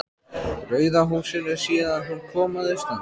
Rauða húsinu síðan hún kom að austan.